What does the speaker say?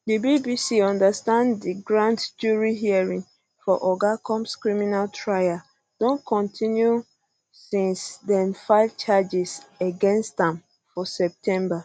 di bbc understand di grand jury hearings for oga combs criminal trial don continue since dem file charges against am for september